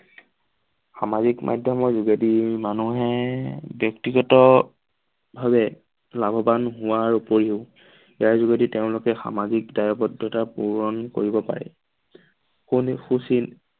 সামাজিক মাধ্যমৰ যোগেদি মানুহে ব্যক্তিগত ভাৱে লাভবান হোৱাৰ উপৰিও ইয়াৰ যোগেদি তেওঁলোকে সামাজিক দায়বদ্ধতা পুৰণ কৰিব পাৰে । সুচিল